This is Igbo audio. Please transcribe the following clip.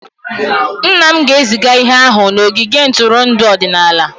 Nna m ga-eziga ihe ahụ n'ogige ntụrụndụ ọdịnala.